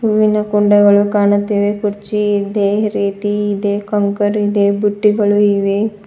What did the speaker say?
ಹೂವಿನ ಕುಂಡಗಳು ಕಾಣುತ್ತಿವೆ ಕುರ್ಚಿ ಇದೆ ರೀತಿ ಇದೆ ಕಂಕರ್ ಇದೆ ಬುಟ್ಟಿಗಳು ಇವೆ.